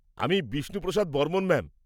-আমি বিষ্ণু প্রসাদ বর্মণ, ম্যাম।